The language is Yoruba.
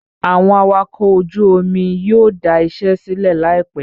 Àwọn awakọ̀ ojú omi yóò dà iṣẹ́ sílẹ̀ láìpẹ́